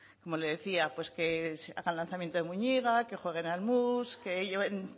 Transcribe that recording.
como le decía pues que hagan lanzamiento de moñiga que jueguen al mus que lleven